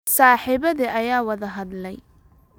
Saaxiibada ayaa wada hadlaya